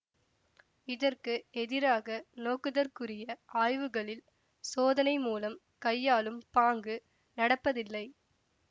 இதற்கு எதிராக நோக்குதற்குரிய ஆய்வுகளில் சோதனை மூலம் கையாளும் பாங்கு நடப்பதில்லை